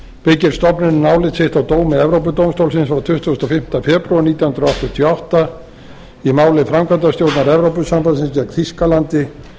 byggir stofnunin álit sitt á dómi evrópudómstólsins frá tuttugasta og fimmta febrúar nítján hundruð áttatíu og átta í máli framkvæmdastjórnar evrópusambandsins gegn þýskalandi